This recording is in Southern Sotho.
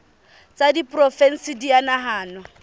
tsa diporofensi di a nahanwa